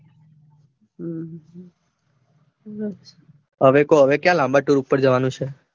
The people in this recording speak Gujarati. હવે કો હવે ક્યાં લાંબા ટુર પર જવાનું છે.